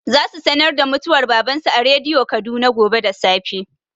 Za su sanar da mutuwar baban su a rediyo Kaduna gobe da safe.